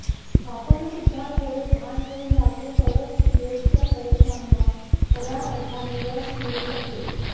आपण सुद्धा थोडे भान ठेवून वागलो तरच प्रियेशच्या प्रयत्नांना खऱ्या अर्थाने यश मिळू शकेल